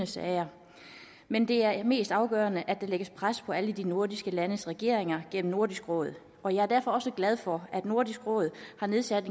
sager men det er mest afgørende at der lægges pres på alle de nordiske landes regeringer gennem nordisk råd og jeg er derfor også glad for at nordisk råd har nedsat